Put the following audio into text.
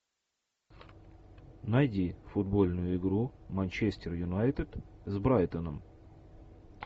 найди футбольную игру манчестер юнайтед с брайтоном